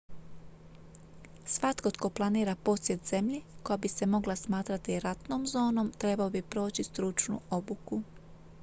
svatko tko planira posjet zemlji koja bi se mogla smatrati ratnom zonom trebao bi proći stručnu obuku